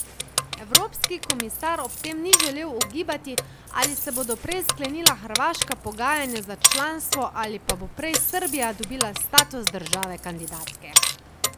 Evropski komisar ob tem ni želel ugibati, ali se bodo prej sklenila hrvaška pogajanja za članstvo ali pa bo prej Srbija dobila status države kandidatke.